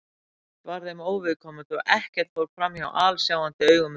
Ekkert var þeim óviðkomandi og ekkert fór framhjá alsjáandi augum þeirra.